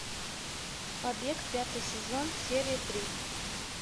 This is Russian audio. побег пятый сезон серия три